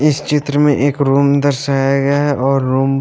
इस चित्र में एक रूम दर्शाया गया और रूम --